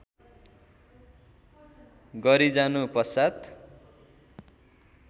गरी जानु पश्चात्